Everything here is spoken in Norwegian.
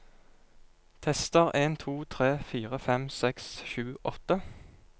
Tester en to tre fire fem seks sju åtte